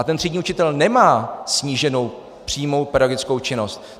A ten třídní učitel nemá sníženou přímou pedagogickou činnost.